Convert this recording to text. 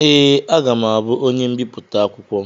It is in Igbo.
Ee, aga m abụ onye mbipụta akwụkwọ.